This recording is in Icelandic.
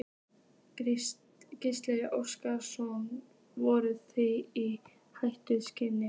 Gísli Óskarsson: Voruð þið í hættu staddir?